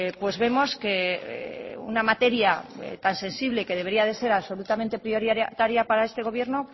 pues vemos que una materia tan sensible que debería de ser absolutamente prioritaria para este gobierno